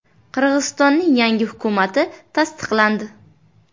Qirg‘izistonning yangi hukumati tasdiqlandi.